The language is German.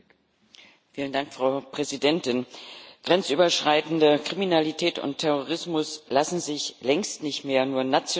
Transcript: Frau Präsidentin! Grenzüberschreitende Kriminalität und Terrorismus lassen sich längst nicht mehr nur national bekämpfen.